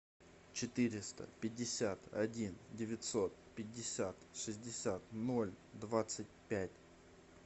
четыреста пятьдесят один девятьсот пятьдесят шестьдесят ноль двадцать пять